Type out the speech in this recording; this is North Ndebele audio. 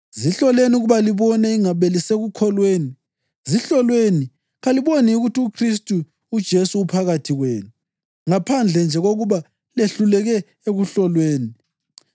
Zihloleni ukuba libone ingabe lisekukholweni, zihloleni. Kaliboni yini ukuthi uKhristu uJesu uphakathi kwenu, ngaphandle nje kokuba lehluleke ekuhlolweni?